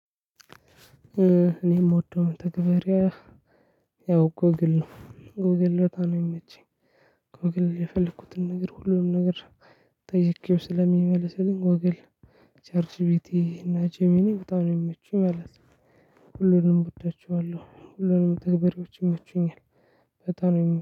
እኔ የምወደው መተግበሪያ ያው ጎግል ነው። ጎግል ዳታ ነው የመቼኝ ከወገል የፈለኩትን ነገር ሁሉንም ነገር ጠይቄው ስለሚመልስልኝ ጎግል፤ ቻርትጅ ቤቲ እና ጄሚኒ በጣም የሚመቹኝ ማለት ነው። ሁሉንም እወዳቸዋለሁ ሁሉንም መተግበሪዎች ይመቹኛል። በጣም